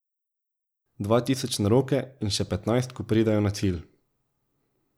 Dva tisoč na roke in še petnajst, ko pridejo na cilj.